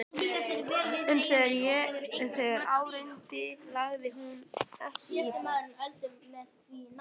En þegar á reyndi lagði hún ekki í það.